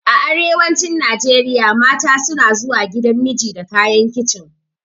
A arewacin Najeriya mata suna zuwa gidan miji da kayan kicin.